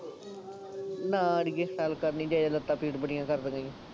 ਨਾ ਅੜੀਏ ਸੈਰ ਕਰਨੀ ਗਏ ਲੱਤਾਂ ਪੀੜ ਬੜੀ ਕਰਦੀਆਂ